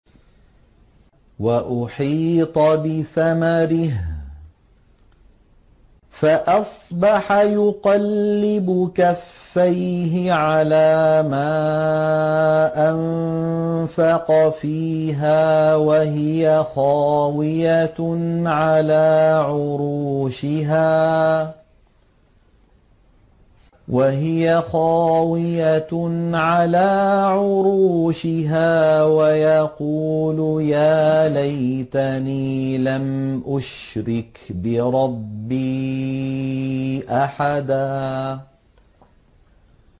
وَأُحِيطَ بِثَمَرِهِ فَأَصْبَحَ يُقَلِّبُ كَفَّيْهِ عَلَىٰ مَا أَنفَقَ فِيهَا وَهِيَ خَاوِيَةٌ عَلَىٰ عُرُوشِهَا وَيَقُولُ يَا لَيْتَنِي لَمْ أُشْرِكْ بِرَبِّي أَحَدًا